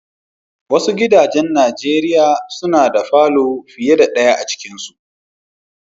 Wasu gidajen Nijeriya suna da falo fiyar da daya a cikin sa.